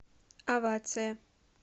овация